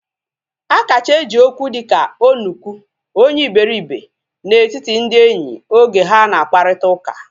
A kacha eji Okwu dịka onuku, onye iberibe na etiti ndị enyi oge ha na akparita ụka